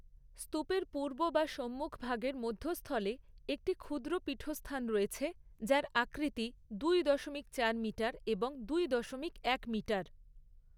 স্তূপের পূর্ব বা সম্মুখভাগের মধ্যস্থলে একটি ক্ষুদ্র পীঠস্থান রয়েছে যার আকৃতি দুই দশমিক চার মিটার এবং দুই দশমিক এক মিটার।